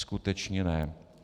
Skutečně ne.